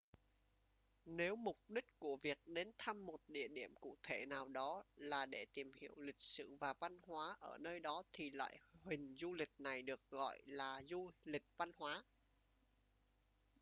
nếu mục đích của việc đến thăm một địa điểm cụ thể nào đó là để tìm hiểu lịch sử và văn hóa ở nơi đó thì loại hình du lịch này được gọi là du lịch văn hóa